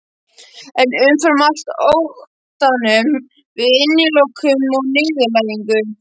En umfram allt óttanum við innilokun og niðurlægingu.